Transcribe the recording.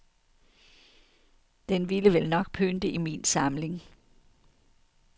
Den ville vel nok pynte i min samling.